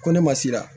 Ko ne ma sira